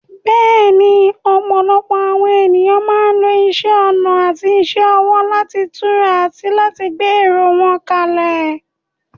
Bẹ́ẹ̀ni, ọ̀pọ̀lọpọ̀ àwọn ènìyàn máa ń lo isẹ́ ọnà àti iṣẹ́ ọwọ́ láti tura àti láti gbé èrò wọn kalẹ̀.